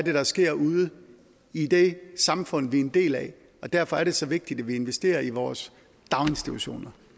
er der sker ude i det samfund vi er en del af og derfor er det så vigtigt at vi investerer i vores daginstitutioner